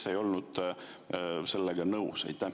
Kes ei olnud sellega nõus?